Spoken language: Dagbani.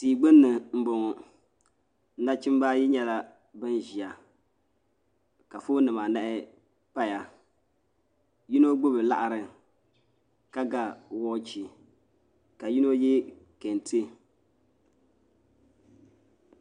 Tia gbunni n boŋo nachimba ayi nyɛla bin ʒiya ka foon nima anahi paya yino gbubi laɣiri ka ga waachi ka yino yɛ kente